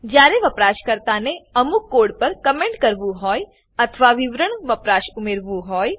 જયારે વપરાશકર્તા ને અમુક કોડ પર કમેન્ટ કરવું હોય અથવા વિવરણ વપરાશ ઉમેરવું હોય